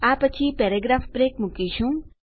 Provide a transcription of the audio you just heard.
આ પછી paragraph break મુકીશું